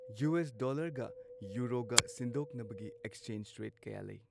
U S ꯗꯣꯂꯔꯒ ꯌꯨꯔꯣꯒ ꯁꯤꯟꯗꯣꯛꯅꯕꯒꯤ ꯑꯦꯛꯆꯦꯟꯁ ꯔꯦꯠ ꯀꯌꯥ ꯂꯩ꯫